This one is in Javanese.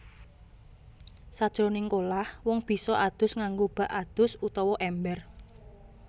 Sajroning kolah wong bisa adus nganggo bak adus utawa èmber